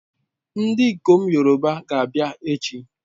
Ndikom Yoruba ga-abia echi